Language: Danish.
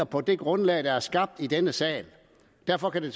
på det grundlag der er skabt i denne sag derfor kan det